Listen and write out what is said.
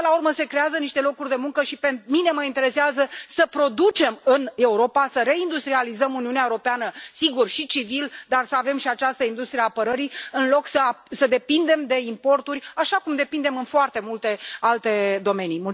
Până la urmă, se creează niște locuri de muncă și pe mine mă interesează să producem în Europa, să reindustrializăm Uniunea Europeană sigur, și civil dar să avem și această industrie a apărării, în loc să depindem de importuri, așa cum depindem în foarte multe alte domenii.